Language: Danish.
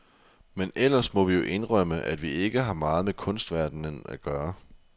Men ellers må vi jo indrømme, at vi ikke har meget med kunstverdenen at gøre.